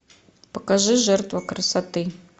покажи жертва красоты